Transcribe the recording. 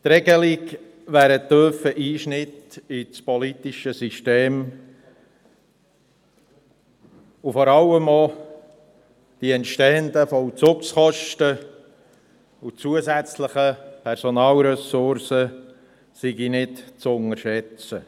Diese Regelung wäre ein tiefer Einschnitt in das politische System, und vor allem seien auch die entstehenden Vollzugskosten sowie die zusätzlichen Personalressourcen nicht zu unterschätzen.